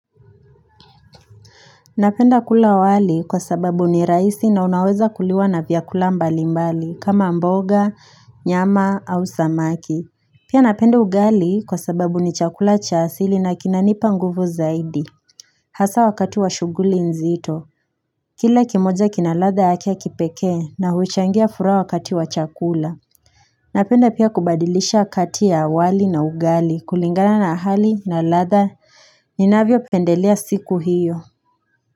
Napenda kula wali kwa sababu ni rahisi na unaweza kuliwa na vyakula mbali mbali kama mboga, nyama au samaki. Pia napenda ugali, kwa sababu ni chakula cha asili na kinanipa nguvu zaidi. Hasa wakati wa shughuli nzito. Kila kimoja kina ladha yake ya kipekee na huchangia furaha wakati wa chakula. Napenda pia kubadilisha kati ya wali na ugali, kulingana na hali na ladha. Ninavyopendelea siku hiyo.